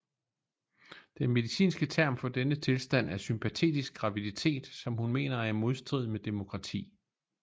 Det medicinske term for denne tilstand er sympatetisk graviditetSom hun mener er i modstrid med demokrati